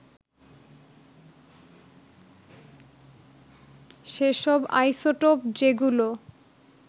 সেসব আইসোটোপ যেগুলো